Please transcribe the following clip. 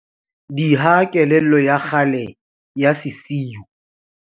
DIHA KELELLO YA KGALE YA SESIU.